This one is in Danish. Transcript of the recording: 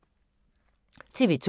TV 2